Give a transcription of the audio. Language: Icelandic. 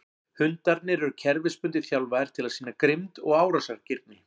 Hundarnir eru kerfisbundið þjálfaðir til að sýna grimmd og árásargirni.